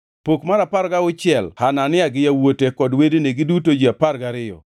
Pok mar apar gauchiel, Hanania gi yawuote kod wedene, giduto ji apar gariyo,